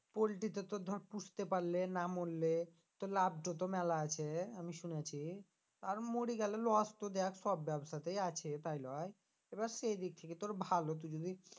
পল্টি টা তো ধর পুষতে পারলে না মরলে তো লাভ টো তো মেলা আছে আমি শুনেছি আর মরি গেলে loss তো দেখ সব ব্যবসাতেই আছে তাই লই? এবার সে দিক থেকে তোর ভালো তু যদি